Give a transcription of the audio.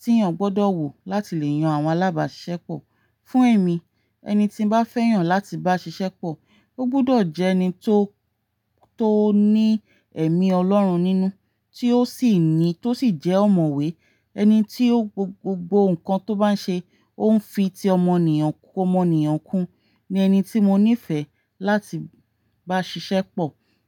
tí èèyàn gbọdọ̀ wò láti lè yan àwọn alábáṣiṣẹ́pọ̀. Fún èmi, ẹni tí bá fẹ́yàn láti bá ṣiṣẹ́pọ̀, ó gbọdọ̀ jẹ́ ẹni tó, tó ní ẹ̀mí Ọlọ́run nínú, tí ó sì ni, tó sì jẹ́ ọ̀mọ̀wé. Ẹni tí gbogbo nǹkan tó bá ń ṣe ó ń fi ti ọmọnìyàn kú ọmọnìyàn kún ni ẹni tí mo nífẹ̀ẹ́ láti bá ṣiṣẹ́pọ̀